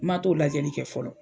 Ma t'o lajɛli kɛ fɔlɔ.